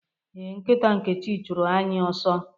Ee, nkita Nkechi chụrụ anyị ọsọ.